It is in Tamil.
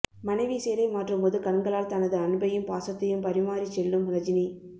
மனைவி சேலை மாற்றும்போது கண்களால் தனது அன்பையும் பாசத்தையும் பரிமாறிச் செல்லும் ரஜினி